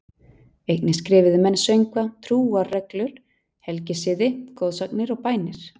Einnig skrifuðu menn söngva, trúarreglur, helgisiði, goðsagnir og bænir.